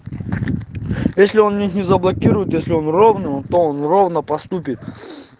если он мне заблокирует если он ровный тон он ровно поступит